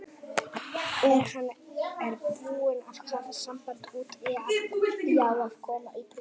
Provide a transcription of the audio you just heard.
Og hann er búinn að hafa samband út, ég á að koma í prufu.